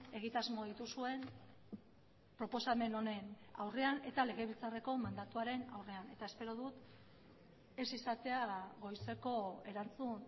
egitasmo dituzuen proposamen honen aurrean eta legebiltzarreko mandatuaren aurrean eta espero dut ez izatea goizeko erantzun